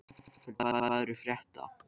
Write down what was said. Álfhildur, hvað er að frétta?